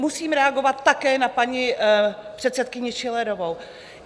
Musím reagovat také na paní předsedkyni Schillerovou.